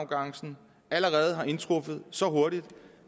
nu er er indtruffet så hurtigt